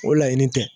O laɲini tɛ